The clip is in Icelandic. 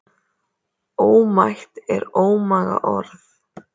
Ómætt eru ómaga orð.